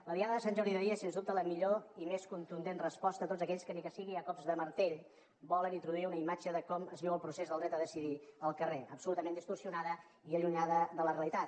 la diada de sant jordi d’ahir és sens dubte la millor i més contundent resposta a tots aquells que ni que sigui a cops de martell volen introduir una imatge de com es viu el procés del dret a decidir al carrer absolutament distorsionada i allunyada de la realitat